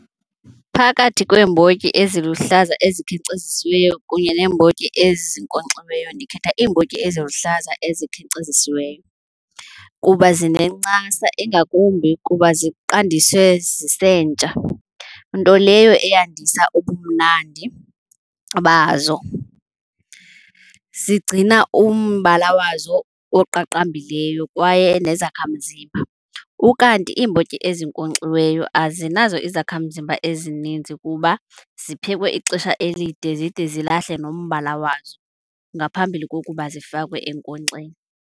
Phakathi kweembotyi eziluhlaza ezikhenkcezisiweyo kunye neembotyi ezinkonkxiweyo, ndikhetha iimbotyi eziluhlaza ezikhenkcezisiweyo kuba zinencasa ingakumbi kuba ziqandiswe zisentsha, nto leyo eyandisa ubumnandi bazo. Zigcina umbala wazo oqaqambileyo kwaye nezakhamzimba. Ukanti iimbotyi ezinkonkxiweyo azinazo izakhamzimba ezininzi kuba ziphekwe ixesha elide zide zilahle nombala wazo ngaphambili kokuba zifakwe enkonkxeni.